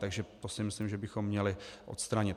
Takže to si myslím, že bychom měli odstranit.